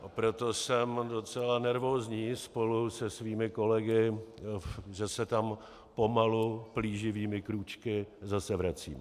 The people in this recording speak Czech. Proto jsem docela nervózní spolu se svými kolegy, že se tam pomalu plíživými krůčky zase vracíme.